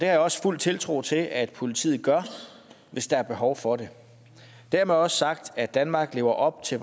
jeg også fuld tiltro til at politiet gør hvis der er behov for det dermed også sagt at danmark lever op til